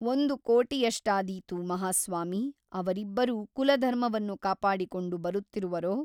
ಒಂದು ಕೋಟಿಯಷ್ಟಾದೀತು ಮಹಾಸ್ವಾಮಿ ಅವರಿಬ್ಬರೂ ಕುಲಧರ್ಮವನ್ನು ಕಾಪಾಡಿಕೊಂಡು ಬರುತ್ತಿರುವರೋ?